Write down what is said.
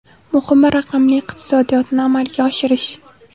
Muhimi, raqamli iqtisodiyotni amalga oshirish.